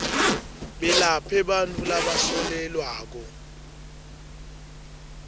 belaphe bantfu labasolelwako